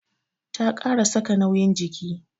Ta kara saka nauyin jiki.